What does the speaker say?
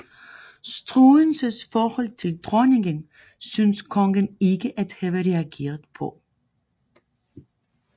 Struensees forhold til dronningen synes kongen ikke at have reageret på